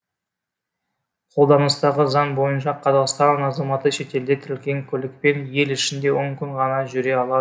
қолданыстағы заң бойынша қазақстан азаматы шетелде тіркелген көлікпен ел ішінде он күн ғана жүре алады